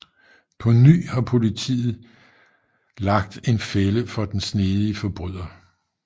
På ny har politet lagt en fælde for den snedige forbryder